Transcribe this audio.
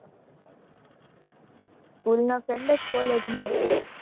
school ના friend જ college માં છે?